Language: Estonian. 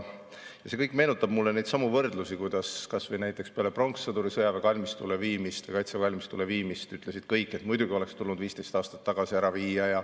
See meenutab mulle neidsamu, kuidas peale pronkssõduri sõjaväekalmistule, kaitseväe kalmistule viimist ütlesid kõik, et muidugi oleks tulnud 15 aastat tagasi ära viia.